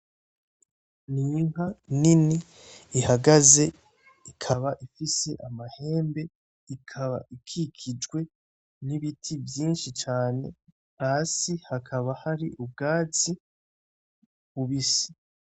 Ninka nini ihagaze ikaba ifise amahembe, ikaba ikikijwe n’ibiti vyinshi cane, hasi hakaba hari ubwatsi bubisi.